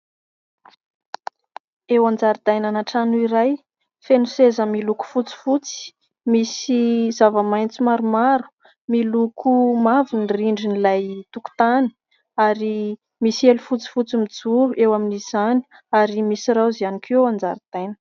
Eo an-jaridainana trano iray, feno seza miloko fotsifotsy, misy zava-maitso maromaro, miloko mavo ny rindrin'ilay tokotany ary misy elo fotsifotsy mijoro eo amin'izany ary misy raozy ihany koa eo an-jaridaina.